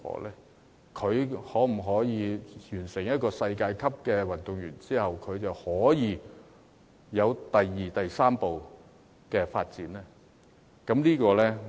例如年青人成為世界級的運動員後，能否有第二步、第三步的發展呢？